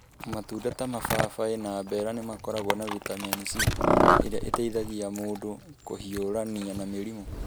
Matunda ta mababaĩ na mbera nĩ makoragwo na vitamin C ĩrĩa ĩteithagia mũndũ kũhiũrania na mĩrimũ.